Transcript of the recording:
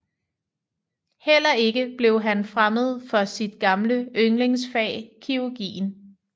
Heller ikke blev han fremmed for sit gamle yndlingsfag kirurgien